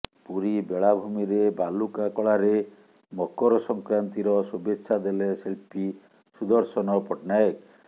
ପୁରୀ ବେଳାଭୂମିରେ ବାଲୁକା କଳାରେ ମକର ସଂକ୍ରାନ୍ତିର ଶୁଭେଚ୍ଛା ଦେଲେ ଶିଳ୍ପୀ ସୁଦର୍ଶନ ପଟ୍ଟନାୟକ